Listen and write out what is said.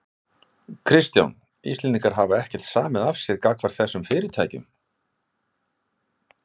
Kristján: Íslendingar hafa ekkert samið af sér gagnvart þessum fyrirtækjum?